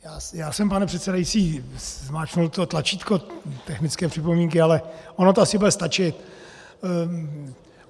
Já jsem, pane předsedající, zmáčkl to tlačítko technické připomínky, ale ono to asi bude stačit.